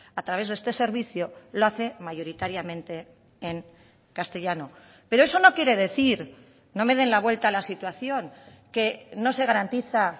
a través de este servicio lo hace mayoritariamente en castellano pero eso no quiere decir no me den la vuelta a la situación que no se garantiza